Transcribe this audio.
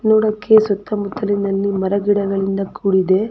ನೋಡಕ್ಕೆ ಸುತ್ತ ಮುತ್ತಲಿನಲ್ಲಿ ಗಿಡ ಮರಗಳಿಂದ ಕೂಡಿದೆ.